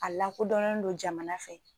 A lakodɔnnen do jamana fɛ.